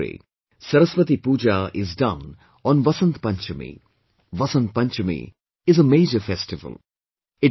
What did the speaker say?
In our country, Saraswati Pooja is done on Vasant Panchami; Vasant Panchmi is a major festival